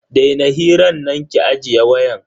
Daina hiran nan ki ajiye wayan.